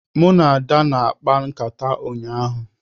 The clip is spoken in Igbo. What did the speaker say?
Mụ na Ada na-akpa nkata ụnyahụ